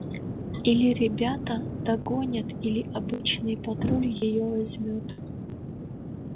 или ребята догонят или обычный патруль её возьмёт